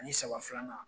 Ani saba filanan